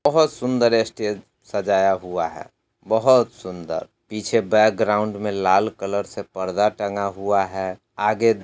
बहोत सुंदर स्टेज सजाया हुआ है बहुत सुंदर। पीछे बैकग्राउंड में लाल कलर से पर्दा टन्गा हुआ है आगे--